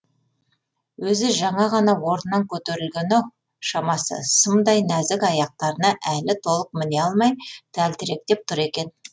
өзі жаңа ғана орнынан көтерілген ау шамасы сымдай нәзік аяқтарына әлі толық міне алмай тәлтіректеп тұр екен